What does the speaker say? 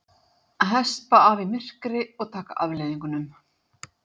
Hespa af í myrkri og taka afleiðingunum.